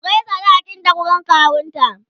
ku Kai sadakin ta wurin kawunta!